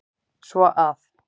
Svo að.